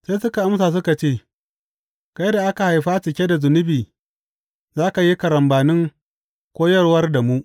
Sai suka amsa suka ce, Kai da aka haifa cike da zunubi; za ka yi karambanin koyarwar da mu!